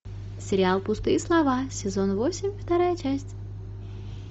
сериал пустые слова сезон восемь вторая часть